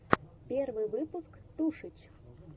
первый выпуск тушич